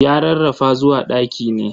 Ya rarrafa zuwa ɗaki ne.